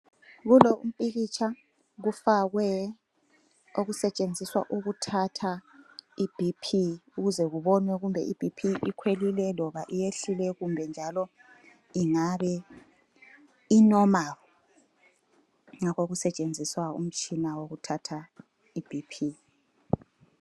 Kulompikitsha kufakwe okusetshenziswa ukuthatha iBP ukuze kobonwe kumbe i BP ikhwelile loba iyehlile kumbe njalo ingabe i normal. Ngakho kusetshenziswa umtshina wokuthatha iBP.